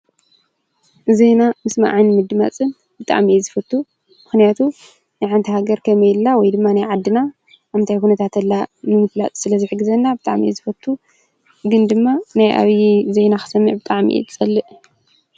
ዜና ምስማዕን ምድማፅን ብጣዕሚ እየ ዝፎቱ። ምክንያቱ ናይ ሓንቲ ሃገር ከመይ ኣላ ወይ ድማ ናይ ዓድና ኣብ ምንታይ ኩነታት ኣላ ንምፍላጥ ስለ ዝሕግዘና ብጣዕሚ እየ ዝፈቱ። ግን ድማ ናይ ኣብዪ ዜና ክሰማዕ ብጣዕሚ እየ ዝፀልእ።